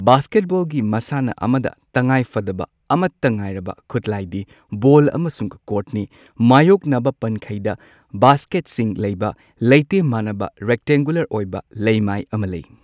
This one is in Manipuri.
ꯕꯥꯁꯀꯦꯠꯕꯣꯜꯒꯤ ꯃꯁꯥꯟꯅ ꯑꯃꯗ ꯇꯉꯥꯏꯐꯗꯕ ꯑꯃꯠꯇ ꯉꯥꯏꯔꯕ ꯈꯨꯠꯂꯥꯏꯗꯤ ꯕꯣꯜ ꯑꯃꯁꯨꯡ ꯀꯣꯔꯠꯅꯤ ꯃꯥꯌꯣꯛꯅꯕ ꯄꯟꯈꯩꯗ ꯕꯥꯁꯀꯦꯠꯁꯤꯡ ꯂꯩꯕ ꯂꯩꯇꯦꯝ ꯃꯥꯟꯅꯕ, ꯔꯦꯛꯇꯦꯡꯒꯨꯂꯔ ꯑꯣꯏꯕ ꯂꯩꯃꯥꯏ ꯑꯃ ꯂꯩ꯫